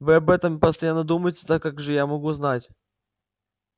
вы об этом постоянно думаете так как же я могу знать